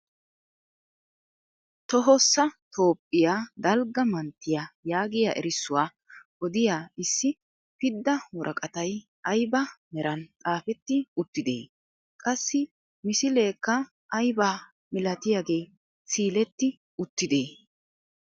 Tohossa toophpiyaa dalgga manttiyaa yaagiyaa erissuwaa odiyaa issi pidda woraqatay ayba meran xaafetti uttidee? qassi misileekka aybaa milatiyaagee siiletti uttidee?